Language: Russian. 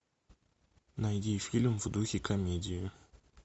найди фильм в духе комедии